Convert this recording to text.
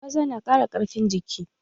Gwaza na ƙara ƙarfin jiki